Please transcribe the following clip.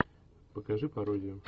покажи пародию